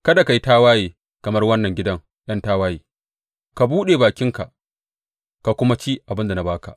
Kada ka yi tawaye kamar wannan gidan ’yan tawaye; ka buɗe bakinka ka kuma ci abin da na ba ka.